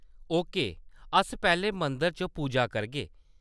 Okay, अस पैह्‌लें मंदर च पूजा करगे।